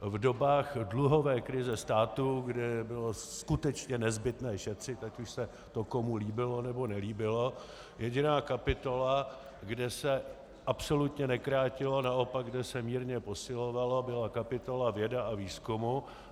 V dobách dluhové krize státu, kdy bylo skutečně nezbytné šetřit, ať už se to komu líbilo, nebo nelíbilo, jediná kapitola, kde se absolutně nekrátilo, naopak kde se mírně posilovalo, byla kapitola věda a výzkumu.